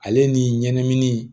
Ale ni ɲɛnɛmini